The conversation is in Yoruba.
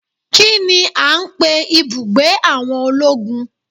Kini a ń pè ibùgbé àwọn ológun?